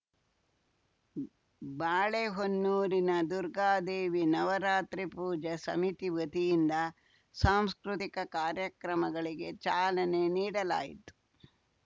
ಬಾಳೆಹೊನ್ನೂರಿನ ದುರ್ಗಾದೇವಿ ನವರಾತ್ರಿ ಪೂಜಾ ಸಮಿತಿ ವತಿಯಿಂದ ಸಾಂಸ್ಕೃತಿಕ ಕಾರ್ಯಕ್ರಮಗಳಿಗೆ ಚಾಲನೆ ನೀಡಲಾಯಿತು